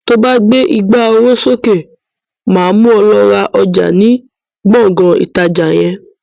To bá gbé ìgbà oró sókè, máa mú ọ lọ ra ọjà ni Gbọ̀ngán ìtajà yẹn.